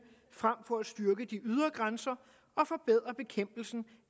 frem for at styrke de ydre grænser og forbedre bekæmpelsen